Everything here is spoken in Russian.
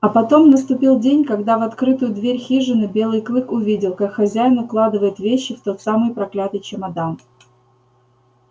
а потом наступил день когда в открытую дверь хижины белый клык увидел как хозяин укладывает вещи в тот самый проклятый чемодан